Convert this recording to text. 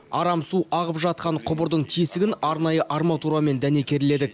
арам су ағып жатқан құбырдың тесігін арнайы арматурамен дәнекерледік